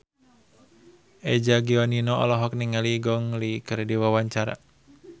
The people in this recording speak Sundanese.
Eza Gionino olohok ningali Gong Li keur diwawancara